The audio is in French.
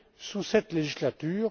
sous cette législature.